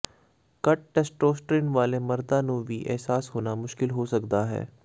ਘੱਟ ਟੈਸਟੋਸਟ੍ਰੀਨ ਵਾਲੇ ਮਰਦਾਂ ਨੂੰ ਵੀ ਅਹਿਸਾਸ ਹੋਣਾ ਮੁਸ਼ਕਲ ਹੋ ਸਕਦਾ ਹੈ